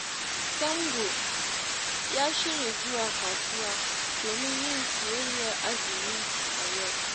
Sambo ya shirya zuwa kasuwa domin yin siyayyar azumi a yau